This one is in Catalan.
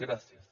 gràcies